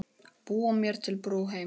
Búa mér til brú heim.